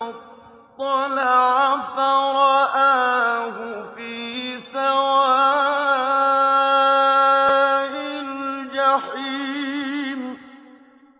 فَاطَّلَعَ فَرَآهُ فِي سَوَاءِ الْجَحِيمِ